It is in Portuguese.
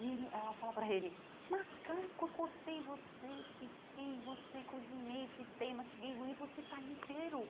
E ele ela fala para ele, macaco, eu cortei você, piquei você, cozinhei, fritei, mastiguei, e vo e você está inteiro.